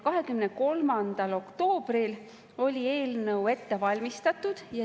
23. oktoobril oli eelnõu ette valmistatud.